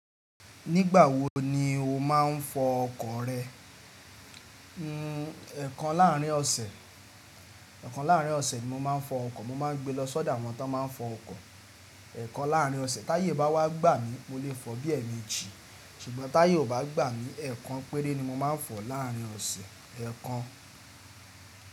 Nígbà wo ni o máa ń fọ ọkọ̀ rẹ? N e kan láàrín ọ̀sẹ̀, è kan láàrín ọ̀sẹ̀ ni mo máa ń fọ ọkọ̀. Mo má ń gbe lọ sọ́dọ̀ àwọn tí wọ́n máa ń fọ ọkọ̀. Ẹ̀ kan láàrín ọ̀sẹ̀, táyé bá wá gbà mí mo lè fọ bí ẹ̀meìjì, ṣùgbọ́n táyé ò bá gbà mí, ẹ̀ kan péré ni mo máa ń fọ láàrín ọ̀sẹ̀, ẹ̀ kan.